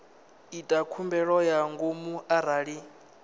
ita khumbelo ya ngomu arali